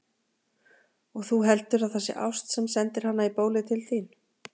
Og þú heldur, að það sé ást, sem sendir hana í bólið til þín!